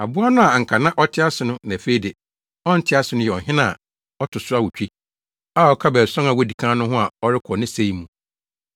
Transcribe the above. Aboa no a anka na ɔte ase na afei de, ɔnte ase no yɛ ɔhene a ɔto so awotwe a ɔka baason a wodi kan no ho a ɔrekɔ ne sɛe mu.